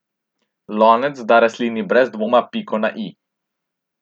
Lonec da rastlini brez dvoma piko na i.